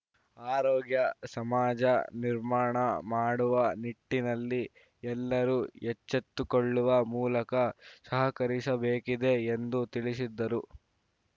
ಆರೋಗ್ಯ ಸಮಾಜ ನಿರ್ಮಾಣ ಮಾಡುವ ನಿಟ್ಟಿನಲ್ಲಿ ಎಲ್ಲರೂ ಎಚ್ಚೆತ್ತುಕೊಳ್ಳುವ ಮೂಲಕ ಸಹಕರಿಸಬೇಕಿದೆ ಎಂದು ತಿಳಿಸಿದ್ದರು